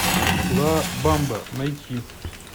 ла бамба найти